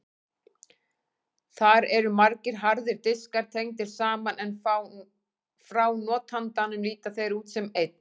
Þar eru margir harðir diskar tengdir saman en frá notandanum líta þeir út sem einn.